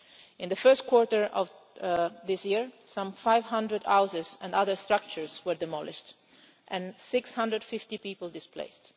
In the first quarter of this year, some 500 houses and other structures were demolished, and 650 people displaced.